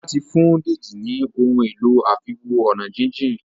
Ola tí fún Deji ní Ohun èlò àfiwo-ọ̀nàjíjìn.